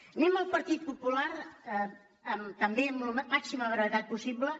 anem al partit popular també amb la màxima bre·vetat possible